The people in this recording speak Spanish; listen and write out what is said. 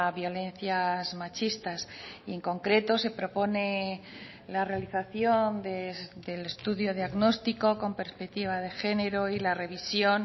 violencias machistas y en concreto se propone la realización del estudio diagnóstico con perspectiva de género y la revisión